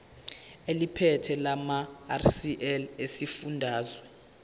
eliphethe lamarcl esifundazwe